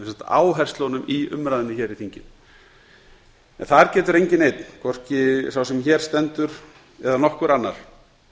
áherslunum í umræðunni hér í þinginu þar getur enginn einn hvorki sá sem hér stendur né nokkur annar